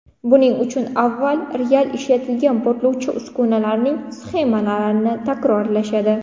Buning uchun avval real ishlatilgan portlovchi uskunalarning sxemalarini takrorlashadi.